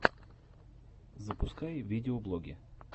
запускай видеоблоги